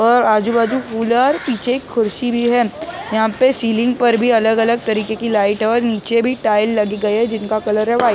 और आजू बाजू फूल है और पीछे एक कुर्सी भी है यहाँ पे सीलिंग पर भी अलग- अलग तरीके की लाइट है और नीचे भी टाइल लग गए है जिनका कलर है वाइट ।